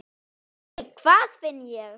Nei, hvað finn ég!